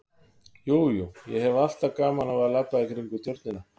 Jú, jú, ég hef alltaf gaman af að labba í kringum Tjörnina